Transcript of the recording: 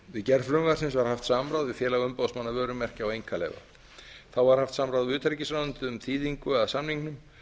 við gerð frumvarpsins var haft samráð við félag umboðsmanna vörumerkja og einkaleyfa þá var haft samráð við utanríkisráðuneytið um þýðingu að samningnum